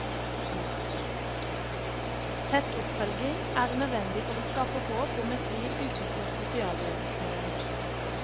Tett oppfølging er nødvendig for å skape håp om et liv utenfor sosialhjelpkøen.